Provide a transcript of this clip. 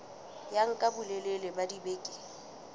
ya nka bolelele ba dibeke